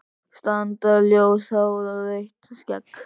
Strandar-ljóst hár og rautt skegg?